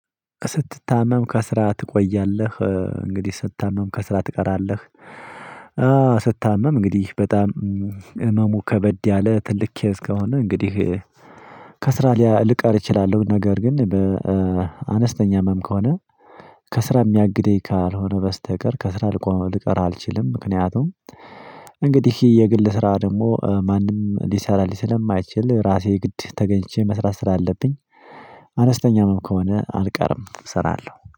ስትታመም ከስራ ትቆያለህ? እንግዲህ ስታመም ከስራ ትቀራለህ ስታመም እንግዲህ በጣም ህመሙ ከበድ ያለ ትልቅ ኬዝ ከሆነ እንግዲህ ከስራ ሊቀር እችላለሁ ነገር ግን በአነስተኛ ህመም ከሆነ ከስራ የሚያግደኝ ካልሆነ በስተቀር ከስራ ልቆም ልቀር አልችልም ምክንያቱም እንግዲህ የግል ስራ ደግሞ ማንም ሊሰራልኝ ስለማይችል ራሴ ግድ ተገኝቼ መስራት ስላለብኝ አነስተኛ ህመም ከሆነ አልቀርም እሰራለሁ።